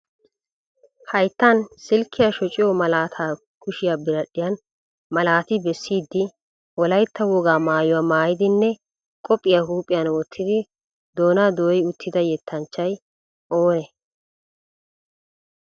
Hayttan silkkiya shociyo malaataa kushiya biradhdhiyan malaati bessidi wolaytta wogaa maayuwa maayidinne qophiya huuphphiyan wottidi doonaa dooyi uttida yettanchchay oonee?